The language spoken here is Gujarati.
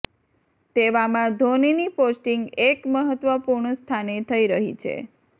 તેવામાં ધોનીની પોસ્ટિંગ એક મહત્વપૂર્ણ સ્થાને થઇ રહી છે